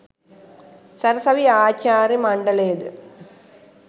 සරසවි ආචාර්ය මණ්ඩලයද